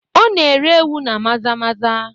Ọ na-ere ewu na maza maza